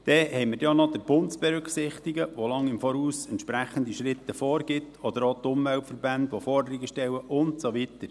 Dann haben wir auch noch den Bund zu berücksichtigen, der lange im Voraus wichtige Schritte vorgibt, oder auch die Umweltverbände, die Forderungen stellen, und so weiter.